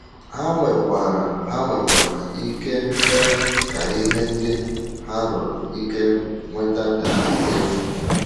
Ha nwekwara Ha nwekwara ike mee ka ihe ndị ha rụrụ ike nweta daa efu.